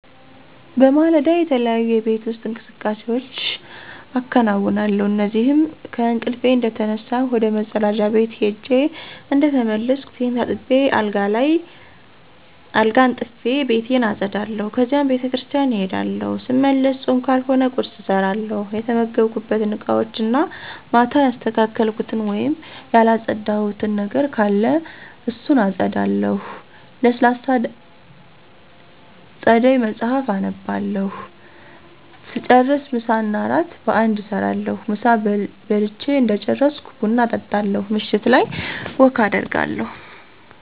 በማለዳ, የተለያዩ የቤት ውስጥ እንቅስቃሴዎች አከነውነለሁ እነዚህም :-ከእንቅልፊ እንደተነሳሁ ወደ መፀዳጃ ቤት ሄጀ እንደተመለስኩ ፊቴን ታጥቤ አልጋ አንጥፊ፣ ቤቴን አፀዳለሁ ከዚያም ቤተክርሰቲያን እሄዳለሁ ሰመለሰ ፆም ካልሆነ ቁርሰ እሰራለሁ፣ የተመገብኩበት እቃወችን እና ማታ ያላሰተካከልኩት ወይም ያለፀዳሁት ነገር ካለ እሱን አፀዳለሁ፣ ለሰላሳ ደይቃ መፀሐፍ አነባለሁ ሰጨርሰ ምሳ እና እራት በአንድ እሰራለሁ፣ ምሳ በልች እደጨረሰኩ ብና እጣለሁ ምሸት ላይ ወክ አደርጋለሁ።